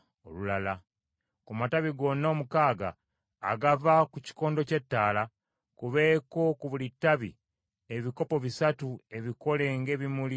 Ku matabi gonna omukaaga agava ku kikondo ky’ettaala, kubeeko ku buli ttabi, ebikopo bisatu ebikole ng’ebimuli by’alumondi; mu buli kikopo nga mulimu omutunsi n’ekimuli.